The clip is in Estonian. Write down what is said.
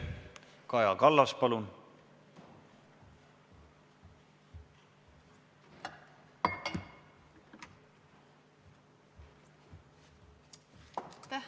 Kaja Kallas, palun!